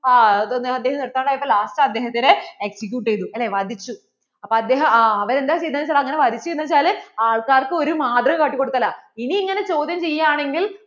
അദ്ദേഹം നിര്‍ത്താണ്ട് ആയപ്പോള്‍ last അദ്ദേഹത്തിനെ execute ചെയ്തു അല്ലേ വധിച്ചു. അപ്പോൾ അവർ എന്താ ചെയ്തേ എന്ന് വെച്ചാ, അങ്ങനെ വധിച്ചേ എന്ന് വെച്ചാൽ ആൾക്കാർക്കു ഒരു മാതൃക കാട്ടികൊടുക്കലാ ഇനി ഇങ്ങനെ ചോദ്യം ചെയ്യാണെങ്കിൽ